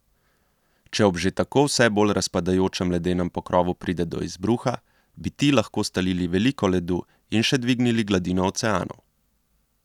Če ob že tako vse bolj razpadajočem ledenem pokrovu pride do izbruha, bi ti lahko stalili veliko ledu in še dvignili gladino oceanov.